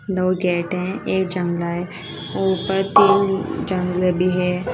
दो गेट है एक जगला है ऊपर तीन जागले भी है।